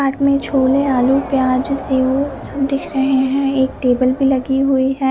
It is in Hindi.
चाट में छोले आलू प्याज सेव सब दिख रही है एक टेबल पे लगी हुई है।